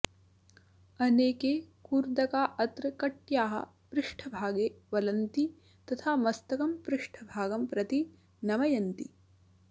अनेके कूर्दका अत्र कट्याः पृष्ठभागे वलन्ति तथा मस्तकं पृष्ठभागं प्रति नमयन्ति